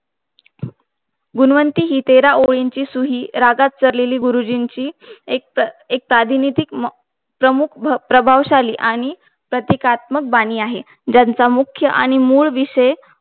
गुणवंती हि तेरा ओवीची सूहि रागात चारलेली, गुरुजींची एक प्राधिनीतीक प्रमुख प्रभावशाली आणि प्रतीकात्मक बानी आहे ज्यांचा मूख्य आणि मूळ विषय